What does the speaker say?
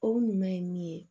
O ɲuman ye min ye